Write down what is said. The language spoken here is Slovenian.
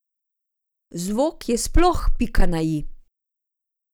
Zvok je sploh pika na i.